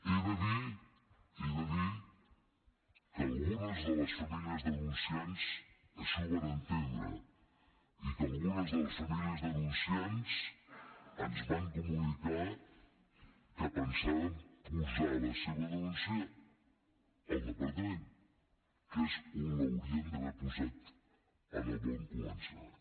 he de dir he de dir que algunes de les famílies denunciants així ho van entendre i que algunes de les famílies denunciants ens van comunicar que pensaven posar la seva denúncia al departament que és on l’haurien d’haver posat en el bon començament